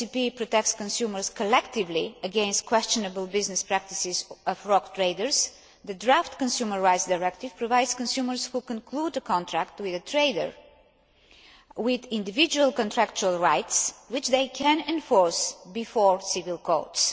UCP protects consumers collectively against questionable business practices by rogue traders, the draft Consumer Rights Directive provides consumers who conclude a contract with a trader with individual contractual rights, which they can enforce before civil courts.